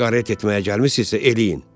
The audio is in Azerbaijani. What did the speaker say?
Qaret etməyə gəlmisinizsə eləyin.